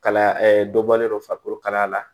Kalaya dɔ bɔlen don farikolo kalaya la